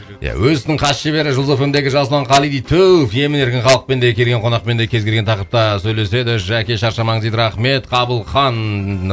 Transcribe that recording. иә өз ісінің хас шебері жұлдыз эф эм дегі жасұлан қали дейді түф емін еркін халықпен де келген қонақпен де кез келген тақырыпта сөйлеседі жәке шаршамаңыз дейді рахмет қабылхан